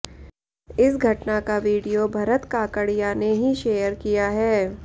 इस घटना का वीडियो भरत काकड़िया ने ही शेयर किया है